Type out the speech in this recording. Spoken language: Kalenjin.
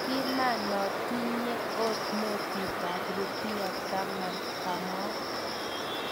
"Kimanotinye ot notit ab rupia taman ,"kamwa.